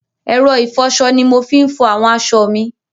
ẹ̀rọ ìfọṣọ ni mo fi ń fọ àwọn aṣọ mi.